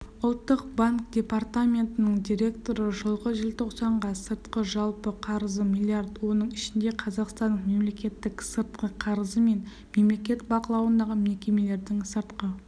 ұлттық банк департаментінің директоры жылғы желтоқсанға сыртқы жалпы қарызы млрд оның ішінде қазақстанның мемлекеттік сыртқы қарызы мен мемлекет бақылауындағы мекемелердің сыртқы